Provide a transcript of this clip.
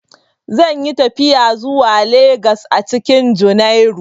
Zan yi tafiya zuwa Legas a cikin junairu.